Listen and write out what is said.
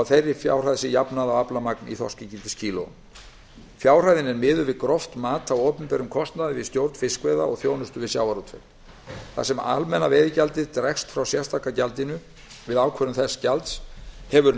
þeirri fjárhæð sé jafnað á aflamagn í þorskígildiskílóum fjárhæðin er miðuð við gróft mat á opinberum kostnaði við stjórn fiskveiða og þjónustu við sjávarútveg þar sem almenna veiðigjaldið dregst frá sérstaka gjaldinu við ákvörðun þess gjalds hefur